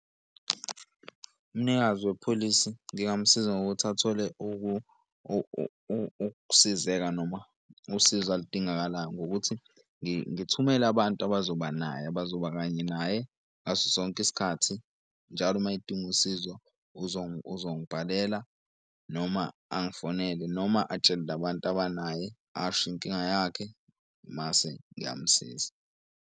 Umnikazi wepholisi ngingamusiza ngokuthi athole ukusizeka noma usizo aludingakalayo ngokuthi ngithumele abantu abazoba naye abazoba kanye naye ngaso sonke isikhathi. Njalo uma edinga usizo uzongibhalela noma angifonele noma atshele labantu abanaye asho inkinga yakhe mase ngiyamusiza.